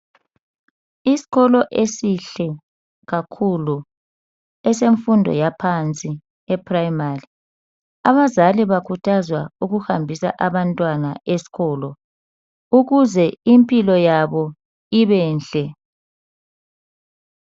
Iskolo esihle kakhulu. Esemfundo yaphansi eprayimari. Abazali bakhuthazwa ukuhambisa abantwana eskolo ukuze impilo yabo ibenhle.